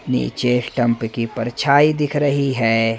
नीचे स्टंप की परछाई दिख रही हैं।